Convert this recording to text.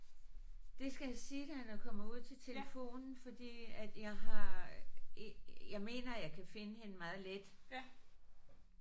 Det skal jeg sige dig når jeg kommer ud til telefonen fordi at jeg har jeg mener jeg kan finde hende meget let